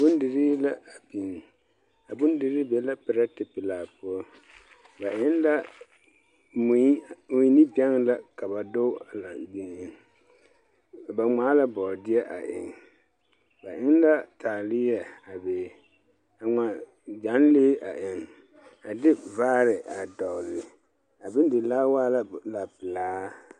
Bondirii la a biŋ. A bondirii be la perɛte pelaa poɔ. Ba eŋ la mui mui ne bɛŋ la ka ba doge a la eŋ eŋ. Ba ŋmaa la bɔɔdeɛ a eŋ. Ba eŋ la taaleɛ a be. A ŋma gyanlee a eŋ. A de vaare a dɔgle. A bondilaa waa la lapelaa.